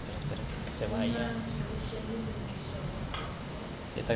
umantyi usobulungisa woxolo